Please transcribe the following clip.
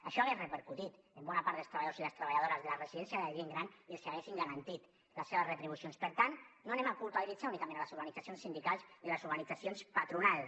això hagués repercutit en bona part dels treballadors i les treballadores de les residències de la gent gran i els haguéssim garantit les seves retribucions per tant no anem a culpabilitzar únicament les organitzacions sindicals i les organitzacions patronals